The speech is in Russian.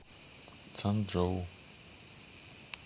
цанчжоу